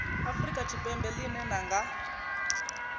afrika tshipembe ḽine ḽa nga